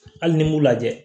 Hali ni m'u lajɛ